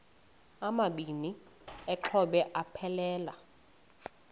amabini exhobe aphelela